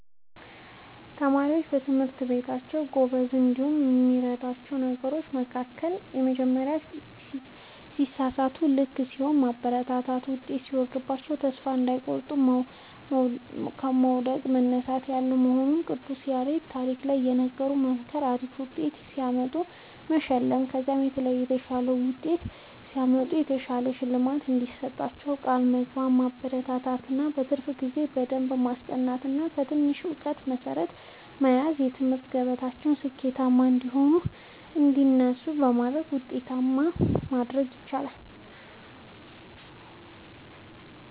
ተማሪዎች በትምህርታቸዉ ጎበዝ እንዲሆኑ ከሚያበረታቷቸዉ ነገሮች መካከል:- የመጀመሪያዉ ሲሳሳቱም ልክ ሲሆኑም ማበረታታት ዉጤት ሲወርድባቸዉም ተስፋ እንዳይቆርጡ መዉደቅ መነሳት ያለ መሆኑንና የቅዱስ ያሬድን ታሪክ እየነገሩ መምከር አሪፍ ዉጤት ሲያመጡ መሸለም ከዚህ በላይ የተሻለ ዉጤት ሲያመጡ የተሻለ ሽልማት እንደሚሰጧቸዉ ቃል በመግባት ማበረታታት እና በትርፍ ጊዜ በደንብ በማስጠናት ገና በትንሽነታቸዉ የእዉቀት መሠረት በማስያዝ በትምህርት ገበታቸዉ ስኬታማ እንዲሆኑ እና እንዲነሳሱ በማድረግ ዉጤታማ ማድረግ ይቻላል።